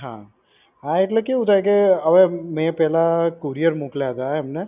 હા એટલે કેવું થાય કે હવે મેં પહેલા કુરિયર મોકલ્યા હતા એમને.